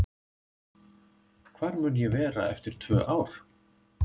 Hvar mun ég vera eftir tvö ár?